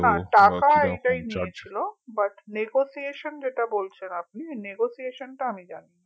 টাকা এইটাই নিয়েছিল but negotiation যেটা বলছেন আপনি negotiation টা আমি জানিনা